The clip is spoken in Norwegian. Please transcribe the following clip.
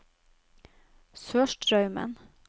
Sørstraumen